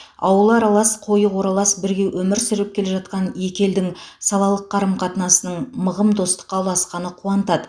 ауылы аралас қойы қоралас бірге өмір сүріп келе жатқан екі елдің салалық қарым қатынасының мығым достыққа ұласқаны қуантады